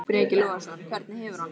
Breki Logason: Hvernig hefur hann það?